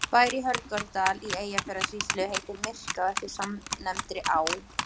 Bær í Hörgárdal í Eyjafjarðarsýslu heitir Myrká eftir samnefndri á.